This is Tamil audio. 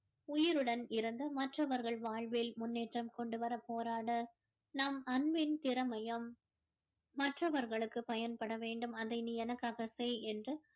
உயிருடன் இருந்து மற்றவர்கள் வாழ்வில் முன்னேற்றம் கொண்டு வர போராடு நம் அன்பின் திறமையும் மற்றவர்களுக்கு பயன்பட வேண்டும் அதை நீ எனக்காக செய் என்று